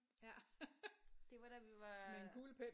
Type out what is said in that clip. Ja med en kuglepen?